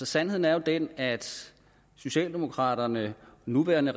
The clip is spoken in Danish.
sandheden er jo den at socialdemokraterne det nuværende